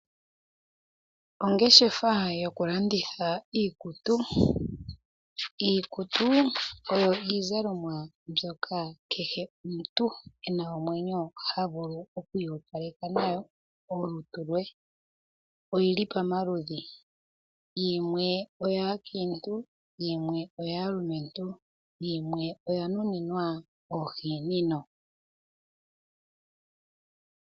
Ongeshefa yokulanditha iikutu Iikutu oyo iizalomwa mbyoka kehe omuntu e na omwenyo ha vulu oku iyopaleka nayo olutu lwe. Oyi li pamaludhi. Yimwe oyaakiintu, yimwe oyaalumentu, yimwe oya nuninwa oohinina.